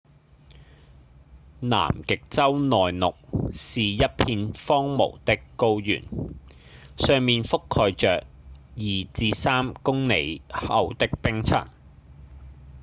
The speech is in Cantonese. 南極洲內陸是一片荒蕪的高原上面覆蓋著 2-3 公里厚的冰層